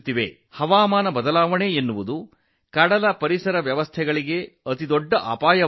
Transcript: ಹವಾಮಾನ ಬದಲಾವಣೆಯು ಸಾಗರ ಪರಿಸರ ವ್ಯವಸ್ಥೆಗಳಿಗೆ ಪ್ರಮುಖ ಬೆದರಿಕೆಯಾಗಿದೆ